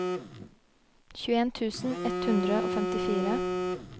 tjueen tusen ett hundre og femtifire